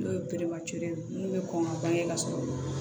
N'o ye ye mun bɛ kɔn ka bange ka sɔrɔ